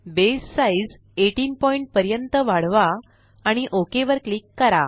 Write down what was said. बसे size 18 point पर्यंत वाढवा आणि ओक वर क्लिक करा